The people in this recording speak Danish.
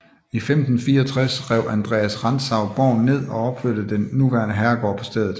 I 1564 rev Andreas Rantzau borgen ned og opførte den nuværende herregård på stedet